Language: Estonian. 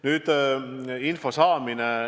Nüüd sellest, mis puudutab info saamist.